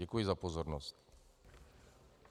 Děkuji za pozornost.